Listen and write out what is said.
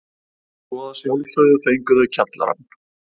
Svo að sjálfsögðu fengu þau kjallarann.